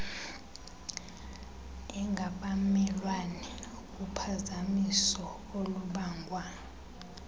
engabamelwane uphazamiso olubangwa